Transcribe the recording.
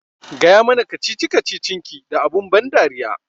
Gaya mana kacici kacicin ki da abun ban dariya